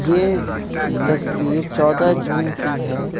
ये तस्वीर चौदह जून की है।